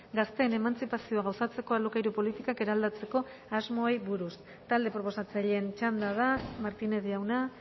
gazteen emantzipazioa gauzatzeko alokairu politikak eraldatzeko asmoei buruz talde proposatzaileen txanda da martínez jauna